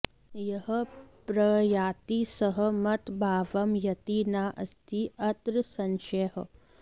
यः प्रयाति सः मत् भावम् याति न अस्ति अत्र संशयः